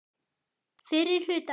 Fyrri hluta árs.